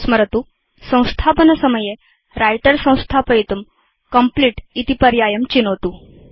स्मरतुसंस्थापनसमये Writer संस्थापयितुं complete इति पर्यायं चिनोतु